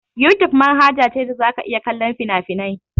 Yutub manhaja ce da za ka iya kallon fina-finai.